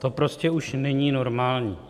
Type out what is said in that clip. To prostě už není normální.